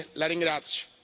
La ringrazio.